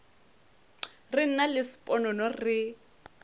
re nna le sponono re